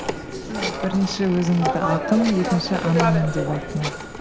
сіз бірінші өзіңізді ақын екінші анамын деп айттыңыз